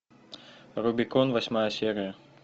рубикон восьмая серия